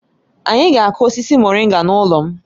Anyị ga akụ osisi moringa n'ụlọ m